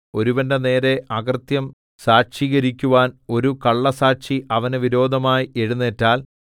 ഒരുവന്റെ നേരെ അകൃത്യം സാക്ഷീകരിക്കുവാന്‍ ഒരു കള്ളസ്സാക്ഷി അവന് വിരോധമായി എഴുന്നേറ്റാൽ